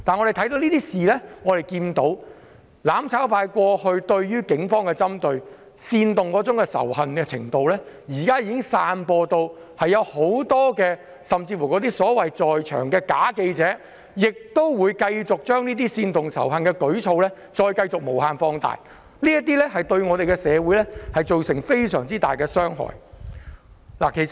從這些事件可見，"攬炒派"過往對警方作出的針對和煽動仇恨的行為現已散播，現場甚至有假記者繼續將這些煽動仇恨的舉措無限放大，對社會造成很大的傷害。